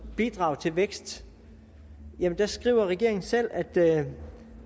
bidrag til vækst skriver regeringen selv at det